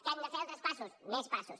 que hem de fer altres passos més passos